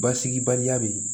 Basigibaliya be yen